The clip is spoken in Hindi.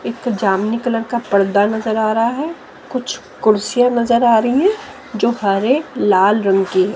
एक जामुनी कलर का पर्दा नजर आ रहा है कुछ कुर्सियां नजर आ रही है जो हरे लाल रंग की है।